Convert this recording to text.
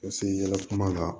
Ka se yala kuma la